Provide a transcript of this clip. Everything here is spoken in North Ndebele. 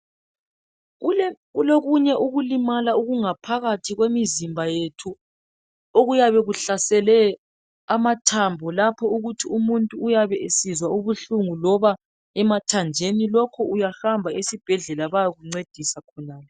Kulokunye ukulimala okungaphakathi kwemizimba yethu okuyabe kuhlasele amathambo lapho ukuthi umuntu uyabe esizwa ubuhlungu loba emathanjeni lokhu uyahamba esibhedlela bayakuncedisa khonale.